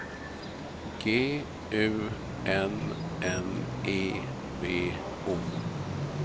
G U N N E B O